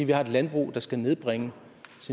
vi har et landbrug der skal nedbringe